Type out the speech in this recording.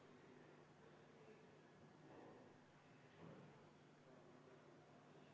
Henn Põlluaas, palun!